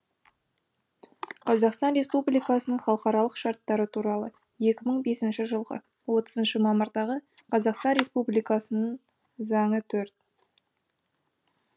қазақстан республикасының халықаралық шарттары туралы екі мың бесінші жылғы отызыншы мамырдағы қазақстан республикасының заңы төрт